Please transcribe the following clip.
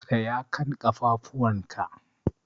Tsaya kan ƙafafuwan ka!